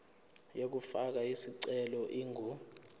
yokufaka isicelo ingu